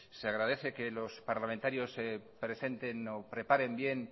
se agradece que los parlamentarios presenten o preparen bien